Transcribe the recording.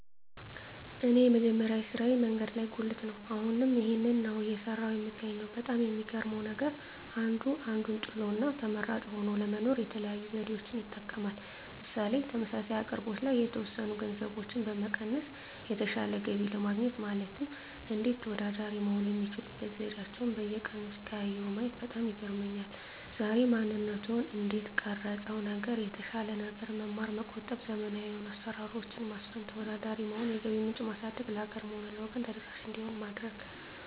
እኔ የመጀመሪያ ስራየ መንገድ ላይ ጉልት ነው አሁንም ይህንን ነው እየሰራሁ የምገኘው በጣም የሚገርመው ነገር አንዱ አንዱን ጥሎ እና ተመራጭ ሆኖ ለመኖር የተለያዩ ዘዴዎችን ይጠቀማል ምሳሌ ተመሳሳይ አቅርቦት ላይ የተወሰኑ ገንዘቦችን በመቀነስ የተሻለ ገቢ ለማግኘት ማለትም እንዴት ተወዳዳሪ መሆን የሚችሉበት ዘዴአቸዉን በየቀኑ ሲቀያይሩ ማየት በጣም ይገርመኛል ዛሬ ማንነትዎን እንዴት ቀረፀው ነገር የተሻለ ነገር መማር መቆጠብ ዘመናዊ የሆኑ አሰራሮች ማስፈን ተወዳዳሪ መሆን የገቢ ምንጭ ማሳደግ ለሀገርም ሆነ ለወገን ተደራሽ እንዲሆን ማድረግ